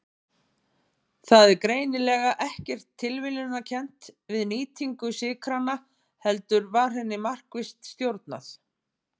Það var greinilega ekkert tilviljunarkennt við nýtingu sykranna heldur var henni markvisst stjórnað.